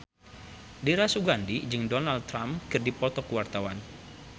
Dira Sugandi jeung Donald Trump keur dipoto ku wartawan